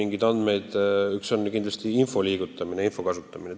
Nii et üks asi on kindlasti info liigutamine ja kasutamine.